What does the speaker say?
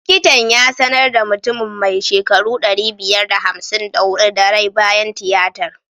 Likitan ya sanar da mutumin mai shekaru ɗari biyar da hamsin da huɗu da rai bayan tiyatar.